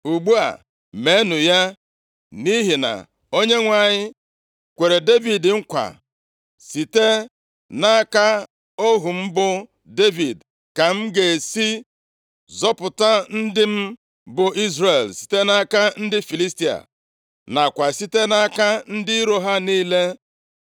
Ugbu a meenụ ya, nʼihi na Onyenwe anyị kweere Devid nkwa, ‘Site nʼaka ohu m bụ Devid ka m ga-esi zọpụta ndị m bụ Izrel site nʼaka ndị Filistia, nakwa site nʼaka ndị iro ha niile.’ ”